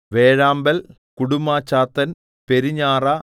വേഴാമ്പൽ കുടുമ്മച്ചാത്തൻ പെരുഞാറ